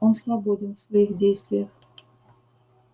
он свободен в своих действиях